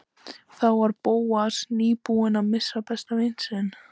Þá var Bóas nýbúinn að missa besta vin sinn.